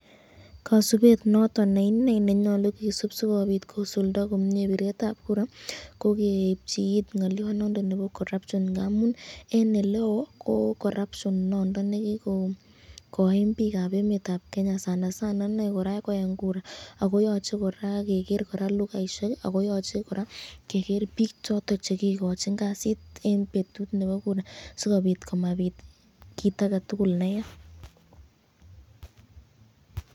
Kosubet noton nee ineei nenyolu kisub sikobiit kosulda komnyee bireetab kura ko keepchi iit ng'oliondonondon nebo corruption ng'amun en eleeo ko corruption inondon nekii koiim biikab Kenya sana sana ineii kora ko en kura, ak koyoche kora kekeer lugaishek ak koyoche kora kekeer biik choton chekikochin kasit en betut noton nebo kura simabiit kiit aketukul neyaa.